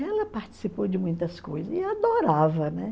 Ela participou de muitas coisas e adorava, né?